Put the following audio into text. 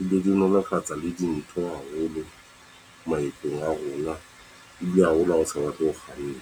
ebile di nolofatsa le dintho haholo maetong a rona. Ebile haholo ha o sa batle ho kganna.